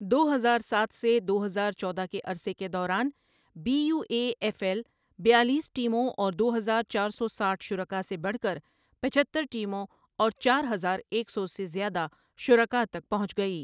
دو ہزار ساتھ سے دو ہزار چودہ کے عرصے کے دوران B U A F L بیالیس ٹیموں اور دو ہزار چار سو سٹھ شرکاء سے بڑھ کر پچہتر ٹیموں اور چار ہزار ایک سو سے زیادہ شرکء تک پہنچ گئی۔